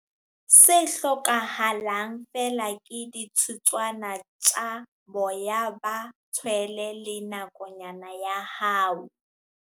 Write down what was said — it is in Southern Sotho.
Se hlokahalang feela ke dithutswana tsa boya ba tshwele le nakonyana ya hao.